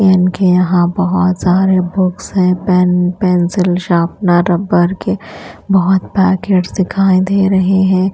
इनके यहां बहोत सारे बुक्स हैं। पेन पेंसिल शापनर रबर के बहोत पैकेट्स दिखाई दे रहे हैं।